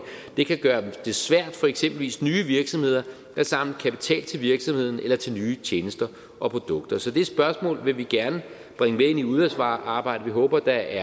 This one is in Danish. det kan gøre det svært for eksempelvis nye virksomheder at samle kapital til virksomheden eller til nye tjenester og produkter så det spørgsmål vil vi gerne bringe med ind i udvalgsarbejdet vi håber at der